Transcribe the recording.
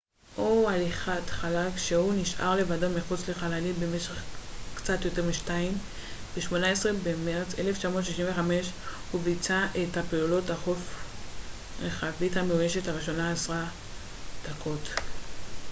"ב-18 במרץ 1965 הוא ביצע את הפעילות החוץ רכבית המאוישת הראשונה eva או "הליכת חלל" כשהוא נשאר לבדו מחוץ לחללית במשך קצת יותר משתיים עשרה דקות.